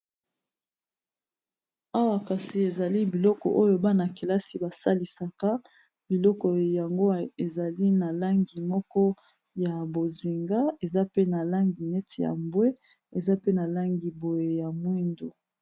Awa kasi ezali biloko oyo bana kelasi basalisaka biloko yango ezali na langi moko ya bozinga eza pe na langi neti ya mbwe eza pe na langi boye ya mwindo.